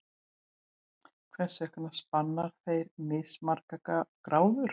Hvers vegna spanna þeir mismargar gráður?